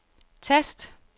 tast